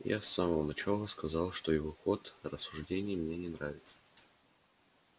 я с самого начала сказал что его ход рассуждений мне не нравится